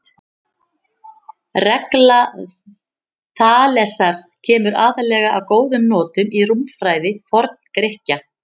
Regla Þalesar kemur aðallega að góðum notum í rúmfræði Forngrikkja.